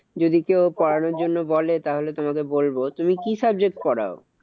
যদি কেউ করানোর জন্য বলে তাহলে তোমাকে বলবো। তুমি কি subject পড়াও?